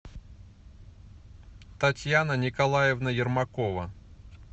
татьяна николаевна ермакова